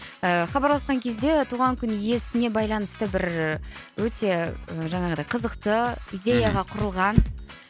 ыыы хабарласқан кезде туған күн иесіне байланысты бір өте жаңағыдай қызықты идеяға мхм құрылған